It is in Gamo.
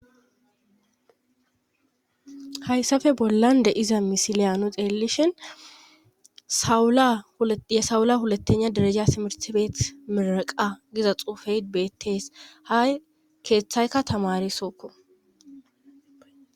hayssafe bollan de'za misileya nu xeelishhin yesawula hulatenya dereja simersibeet miraqa giza xuufey bettees hay keeththayka tamari sookko